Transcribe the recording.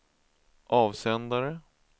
avsändare